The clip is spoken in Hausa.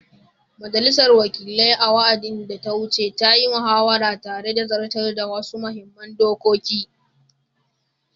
Majalisar Wakilai, a wa’adin da ta wuce, ta yi muhawara tare da zartar da wasu muhimman dokoki